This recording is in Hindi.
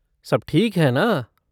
सब ठीक है ना?